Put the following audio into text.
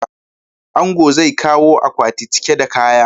Angon zai kawo akwati cike da kaya.